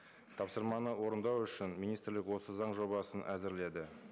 тапсырманы орындау үшін министрлік осы заң жобасын әзірледі